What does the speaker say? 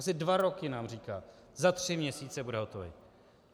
Asi dva roky nám říká - za tři měsíce bude hotový.